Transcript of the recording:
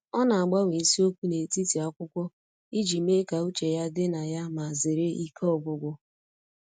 Ọ na-agbanwe isiokwu n'etiti akwụkwọ iji mee ka uche ya dị na ya ma zere ike ọgwụgwụ.